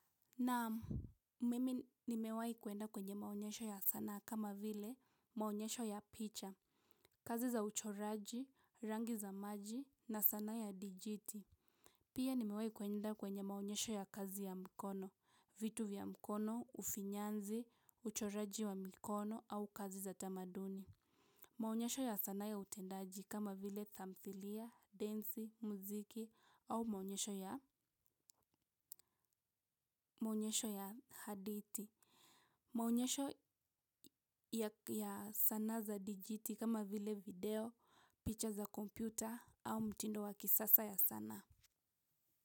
Naam mimi nimewahi kwenda kwenye maonyesho ya sanaa kama vile maonyesho ya picha, kazi za uchoraji, rangi za maji na sanaa ya dijiti. Pia nimewahi kuenda kwenye maonyesho ya kazi ya mkono, vitu vya mkono, ufinyanzi, uchoraji wa mikono au kazi za tamaduni. Maonyesho ya sanaa ya utendaji kama vile tamthilia, densi, muziki au maonyesho ya hadithi. Maonyesho ya sanaa za digiti kama vile video, picha za kompyuta au mtindo wa kisasa ya sanaa.